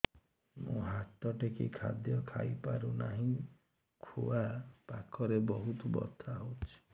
ମୁ ହାତ ଟେକି ଖାଦ୍ୟ ଖାଇପାରୁନାହିଁ ଖୁଆ ପାଖରେ ବହୁତ ବଥା ହଉଚି